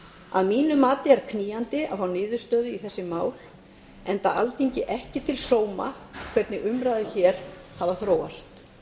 að mínu mati er knýjandi að fá niðurstöðu í þessu máli enda alþingi ekki til sóma hvernig umræður hér hafa þróast